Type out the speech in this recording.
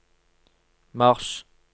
mars